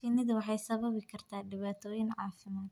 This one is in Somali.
Shinnidu waxay sababi kartaa dhibaatooyin caafimaad.